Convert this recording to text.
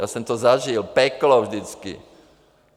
Já jsem to zažil, peklo vždycky.